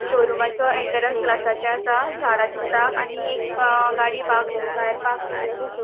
शोरूमाचो एन्ट्रन्स ग्लासाचे असा झाडा दिसता आणि एक ब गाड़ी बा भायर पार्क केल्ली असा.